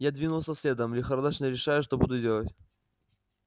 я двинулся следом лихорадочно решая что буду делать